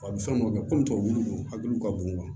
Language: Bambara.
A bɛ fɛn dɔ kɛ kɔmi tubabu lu hakili ka bon